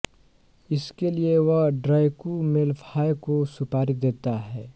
इसके लिये वह ड्रैकु मेल्फॉय को सुपारी देता है